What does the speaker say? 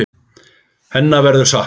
Hennar verður saknað.